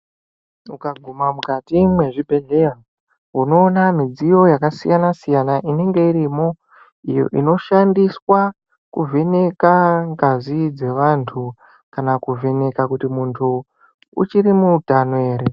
Ukaguma mukati mwezvibhedhleya unoona midziyo yakasiyana siyana inenge irimo iyo inoshandiswa kuvheneka ngazi dzevantu kana kuvheneka kuti muntu uchiri mutano ere.